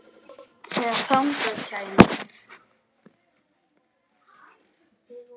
Og þegar þangað kæmi.